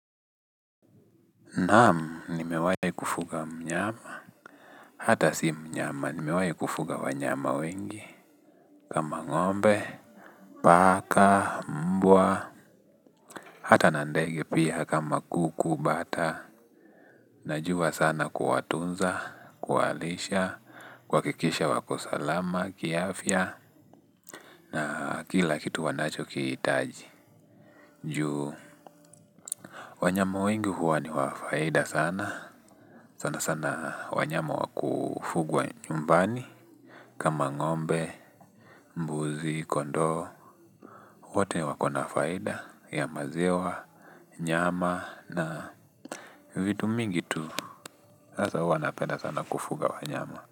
Naam, nimewai kufuga mnyama, hata si mnyama, nimewai kufuga wanyama wengi, kama ng'ombe, paka, mbwa, hata na ndege pia kama kuku, bata, najuwa sana kuwatunza, kuwalisha, kuakikisha wako salama, kiafya, na kila kitu wanacho kiitaji, juu. Wanyama wengi huwa ni wa faida sana, sana sana wanyama wakufugwa nyumbani, kama ngombe, mbuzi, kondoo, wote wako na faida ya maziwa, nyama na vitu mingi tu, sasa huwa napenda sana kufuga wanyama.